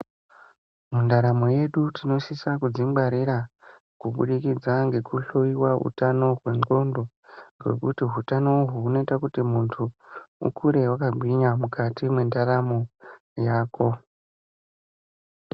Mundaramo yedu tinosisa kudzingwarira kubudikidza ngekuhloyiwa utano hwendxondo. Nekuti utano uhwu hunoita kuti muntu ukure wakagwinya mukati mwendaramo yako.